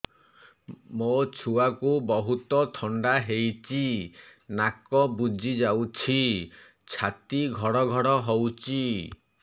ମୋ ଛୁଆକୁ ବହୁତ ଥଣ୍ଡା ହେଇଚି ନାକ ବୁଜି ଯାଉଛି ଛାତି ଘଡ ଘଡ ହଉଚି